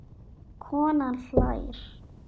Konan hlær.